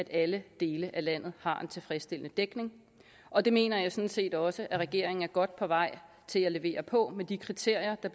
alle dele af landet har en tilfredsstillende dækning og det mener jeg sådan set også er regeringen er godt på vej til at levere på med de kriterier der